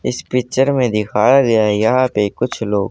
इस पिक्चर में दिखाया गया यहां पे कुछ लो--